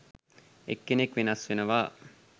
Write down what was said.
එක් කෙනෙක් වෙනස් වෙනවා.